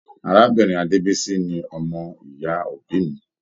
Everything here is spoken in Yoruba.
Arábìnrin Adebisi ni ọmọ ìyá òbí mí.